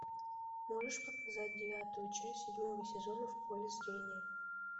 можешь показать девятую часть седьмого сезона в поле зрения